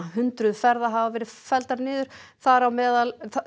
hundruð ferða hafa felld niður þar á meðal